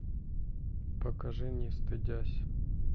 покажи не стыдясь